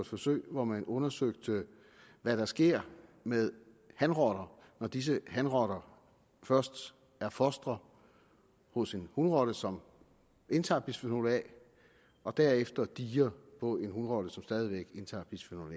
forsøg hvor man undersøgte hvad der sker med hanrotter når disse hanrotter først er fostre hos en hunrotte som indtager bisfenol a og derefter dier på en hunrotte som stadig væk indtager bisfenol